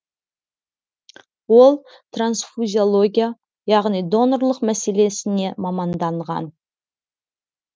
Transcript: ол трансфузиология яғни донорлық мәселесіне маманданған